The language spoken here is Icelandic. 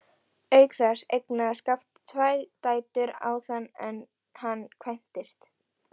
Auk þess eignaðist Skafti tvær dætur áður en hann kvæntist.